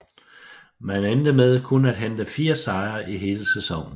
Man endte med kun at hente fire sejre i hele sæsonen